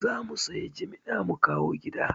Za mu sayi jimana mu kawo gida